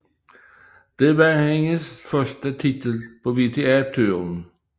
Det var hendes første titel på WTA Touren